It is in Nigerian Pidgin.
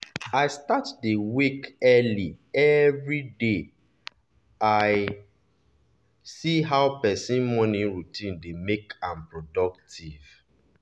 i start dey wake early every day after i see how person morning routine dey make am productive.